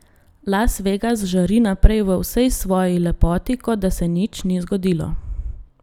Las Vegas žari naprej v vsej svoji lepoti, kot da se nič ni zgodilo.